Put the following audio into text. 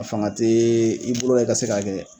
A fanga tee i bolo la i ka se k'a kɛ